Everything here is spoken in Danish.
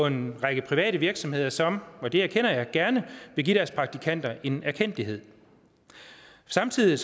en række private virksomheder som og det erkender jeg gerne vil give deres praktikanter en erkendtlighed samtidig er